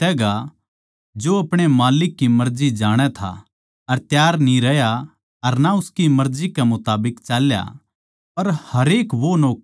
वो नौक्कर घणा छितैगा जो अपणे माल्लिक की मर्जी जाणै था अर तैयार न्ही रह्या अर ना उसकी मर्जी कै मुताबिक चाल्या